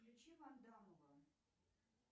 включи вандамова